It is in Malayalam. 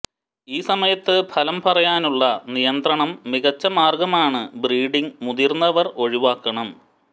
ഈ സമയത്ത് ഫലം പറവാനുള്ള നിയന്ത്രണം മികച്ച മാർഗ്ഗമാണ് ബ്രീഡിംഗ് മുതിർന്നവർ ഒഴിവാക്കണം